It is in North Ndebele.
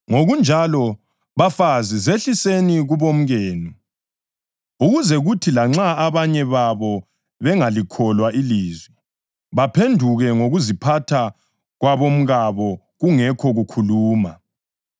Ngokunjalo, bafazi zehliseni kubomkenu ukuze kuthi lanxa abanye babo bengalikholwa ilizwi, baphenduke ngokuziphatha kwabomkabo kungekho kukhuluma,